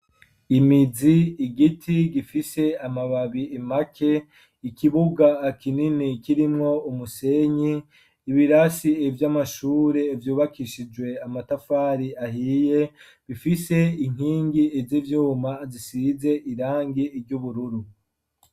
Imizi, igiti gifise amababi impake ikibuga kinini kirimwo umusenyi ibirasi iby'amashuri vyubakishijwe amatafari ahiye bifise inkingi iz'ibyuma zisize irangi ry'ubururu.